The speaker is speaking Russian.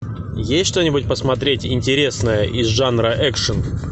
есть что нибудь посмотреть интересное из жанра экшн